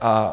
A